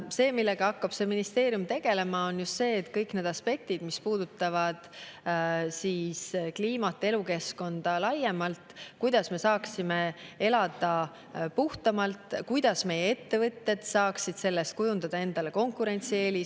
See, millega hakkab ministeerium tegelema, on just kõik need aspektid, mis puudutavad kliimat ja elukeskkonda laiemalt, kuidas me saaksime elada puhtamalt, kuidas meie ettevõtted saaksid sellest kujundada endale konkurentsieelise.